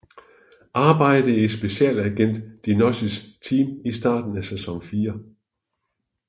Arbejdede i specialagent DiNozzos team i starten af sæson 4